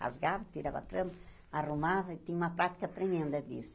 Rasgava, tirava a trama, arrumava e tinha uma prática tremenda disso.